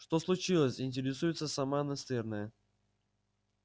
что случилось интересуется сама настырная